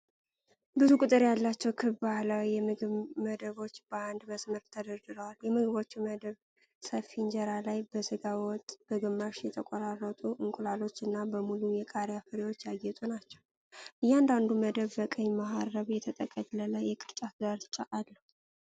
ብዙ ቁጥር ያላቸው ክብ ባህላዊ የምግብ መደቦች በአንድ መስመር ተደርድረዋል። የምግቦቹ መደብ ሰፊ እንጀራ ላይ በሥጋ ወጥ፣ በግማሽ የተቆራረጡ እንቁላሎች እና በሙሉ የቃሪያ ፍሬዎች ያጌጡ ናቸው። እያንዳንዱ መደብ በቀይ መሀረብ የተጠቀለለ የቅርጫት ዳርቻ አለው።